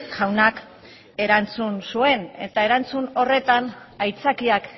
jaunak erantzun zuen eta erantzun horretan aitzakiak